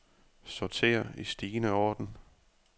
Sorter i stigende orden.